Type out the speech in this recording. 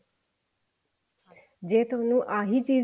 ਜੇ ਥੋਨੂੰ ਆਹੀ ਚੀਜ਼